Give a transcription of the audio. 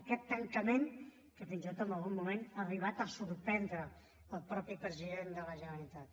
aquest tancament que fins i tot en algun moment ha arribat a sorprendre el mateix president de la generalitat